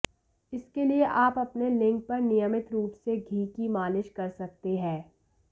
इसके लिए आप अपने लिंग पर नियमित रूप से घी की मालिश कर सकते हैं